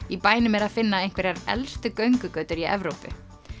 í bænum er að finna einhverjar elstu göngugötur í Evrópu